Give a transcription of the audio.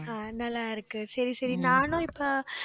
அஹ் நல்லா இருக்கு. சரி, சரி நானும் இப்ப